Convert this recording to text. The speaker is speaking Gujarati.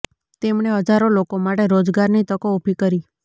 તેમણે હજારો લોકો માટે રોજગારની તકો ઊભી કરી